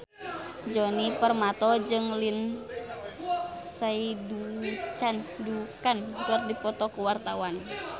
Djoni Permato jeung Lindsay Ducan keur dipoto ku wartawan